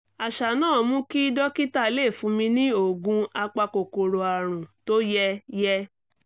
àṣà náà mú kí dókítà lè fún mi ní oògùn apakòkòrò àrùn tó yẹ yẹ